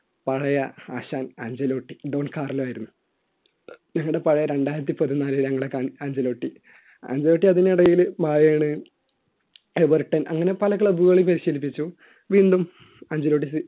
പഴയ ആശാൻ അഞ്ചുലൊട്ടിഡോൺ കാർ ലോ ആയിരുന്നു ഞങ്ങളുടെ പഴയ രണ്ടായിരത്തി പതിനാല് ഞങ്ങളുടെ അഞ്ചൽ ലോട്ടി അഞ്ചലോട്ടി അതിനിടയിൽ എബെർട്ടൻ അങ്ങനെ പല club കളിൽ പരിശീലിപ്പിച്ചു വീണ്ടും അഞ്ചൽ ലോട്ടി